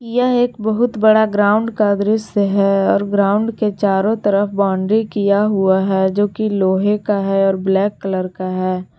यह एक बहुत बड़ा ग्राउंड का दृसय है और ग्राउंड के चारों तरफ बाउंड्री किया हुआ है जो कि लोहे का है और ब्लैक कलर का है।